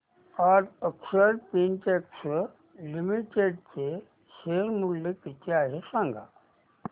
आज Akshar Spintex limited चे share मूल्य किती आहे सांगा